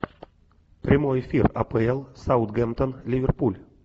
прямой эфир апл саутгемптон ливерпуль